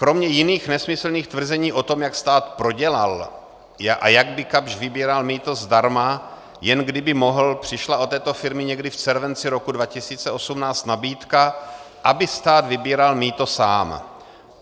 Kromě jiných nesmyslných tvrzeních o tom, jak stát prodělal a jak by Kapsch vybíral mýto zdarma, jen kdyby mohl, přišla od této firmy někdy v červenci roku 2018 nabídka, aby stát vybíral mýto sám.